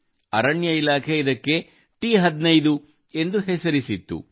ಅರಣ್ಯ ಇಲಾಖೆ ಇದಕ್ಕೆ ಟಿ15 ಎಂದು ಹೆಸರಿಸಿದೆ